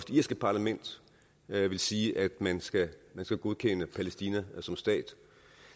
irske parlament vil sige at man skal godkende palæstina som stat